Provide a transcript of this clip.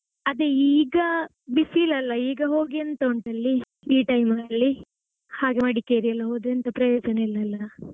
ಅದೇ ಈಗ ಬಿಸಿಲಲ್ಲ ಈಗ ಹೋಗಿ ಎಂತ ಉಂಟಲ್ಲಿ ಈ time ಅಲ್ಲಿ ಹಾಗೆ ಮಡಿಕೇರಿ ಎಲ್ಲ ಹೋದ್ರೆ ಎಂತ ಪ್ರಯೋಜನ ಇಲ್ಲ ಅಲ್ಲಾ.